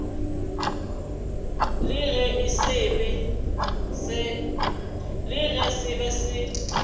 le ge se be se